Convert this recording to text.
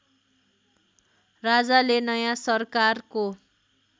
राजाले नयाँ सरकारको